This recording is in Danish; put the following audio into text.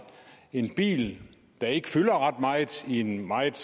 en bil der ikke fylder ret meget i en meget